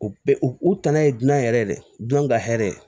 U bɛɛ u u tana ye dinɛ yɛrɛ ye dɛw ka hɛrɛ